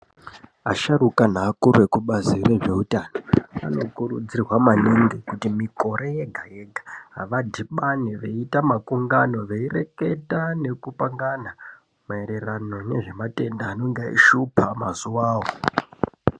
Asharuka neakuru ekubazi rezveutano anokurudzirwa maningi kuti mikore yega-yega vadhibane veiita makungano veireketa nekupangana maererano nezvematenda anenga eishupa mazuvawo.